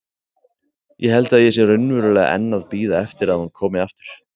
Ég held að ég sé raunverulega enn að bíða eftir að hún komi aftur.